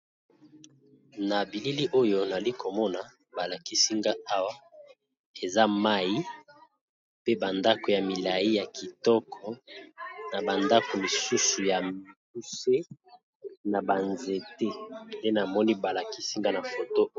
Na bilili oyo nali ko mona ba lakisi nga awa eza mayi pe ba ndako ya milayi ya kitoko na ba ndako misusu ya mikuse na ba nzete nde na moni ba lakisi nga na photo .